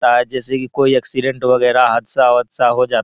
ता है जैसे की कोई एक्सीडेंट वगेरा हादसा-उदसा हो जा --